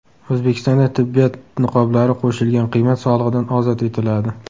O‘zbekistonda tibbiyot niqoblari qo‘shilgan qiymat solig‘idan ozod etiladi.